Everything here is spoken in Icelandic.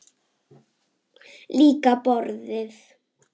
Líka borðið.